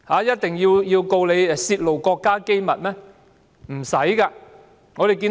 一定要以泄露國家機密起訴嗎？